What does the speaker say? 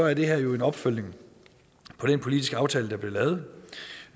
er det her jo en opfølgning på den politiske aftale der blev lavet